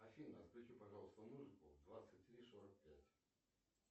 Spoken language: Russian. афина включи пожалуйста музыку в двадцать три сорок пять